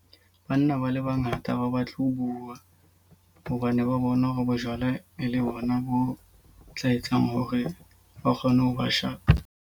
Banna ba le ba ngata ha ba batle ho bua hobane ba bone hore bojwala e le bona bo tla etsang hore ba kgone ho ba sharp.